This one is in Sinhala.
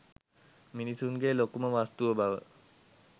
මිනිසුන්ගේ ලොකුම වස්තුව බව